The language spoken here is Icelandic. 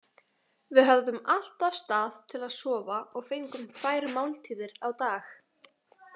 Við höfðum alltaf stað til að sofa og fengum tvær máltíðir á dag.